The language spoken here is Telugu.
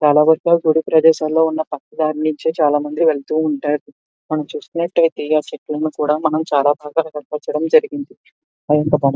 గుడి ప్రదేశం లో ఉన్న పక్క దరి నుంచి చాల మంది వెళ్తూ ఉంటారు మనం చూస్తూ ఉన్నట్లయితే ఎలా కూడా చాల బాగా జరిగింది --